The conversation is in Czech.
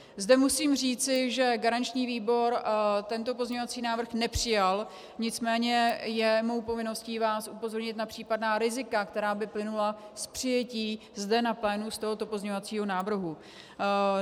Zde musím říci, že garanční výbor tento pozměňovací návrh nepřijal, nicméně je mou povinností vás upozornit na případná rizika, která by plynula z přijetí zde na plénu z tohoto pozměňovacího návrhu.